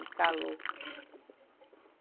E calor.